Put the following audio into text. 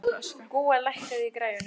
Gúa, lækkaðu í græjunum.